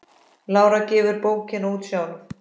Lára gefur bókina út sjálf.